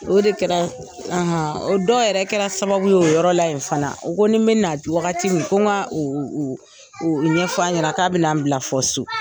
O de kɛra o dɔw yɛrɛ kɛra sababu ye, o yɔrɔ la in fana, u ko ni bɛna wagati min ko ka u u u u ɲɛfɔ a ɲɛna k'a bɛna n bila fɔ so.